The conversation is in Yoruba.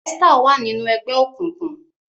Esther wa nínú ègbé òkùnkùn.